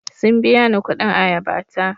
Sun biya ni kuɗin ayaba ta.